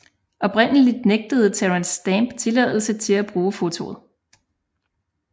Oprindeligt nægtede Terence Stamp tilladelse til at bruge fotoet